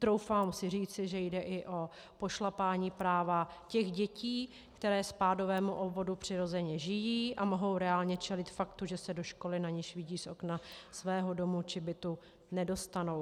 Troufám si říct, že jde i o pošlapání práva těch dětí, které ve spádovém obvodu přirozeně žijí a mohou reálně čelit faktu, že se do školy, na niž vidí z okna svého domu či bytu, nedostanou.